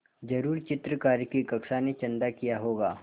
ज़रूर चित्रकारी की कक्षा ने चंदा किया होगा